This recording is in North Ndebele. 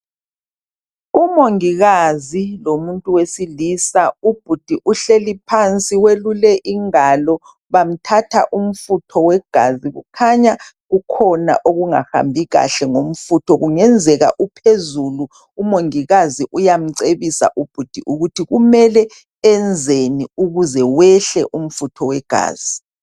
Umongikazi lomuntu wesilisa ubhudi uhlezi phansi uyelule ingalo bamthatha umfutho wegazi kukhanya kukhona okungahambi kanhle ngofutho kungenzeka ophezulu umongikazi uyacebisa ubhudi ukuthi kumele enzeni ukuze wehle umfutho wegazi